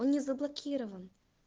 он не заблокирован